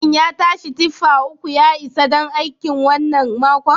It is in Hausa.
Shin yashi tiffa uku ya isa don aikin wannan makon?